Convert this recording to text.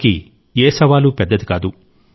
వారికి ఏ సవాలూ పెద్దది కాదు